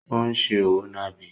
Ó ń se òwò nàbì.